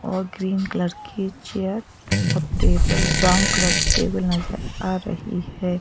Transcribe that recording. और green colour की chair और टेबल ब्राउन कलर की टेबल नजर आ रही है।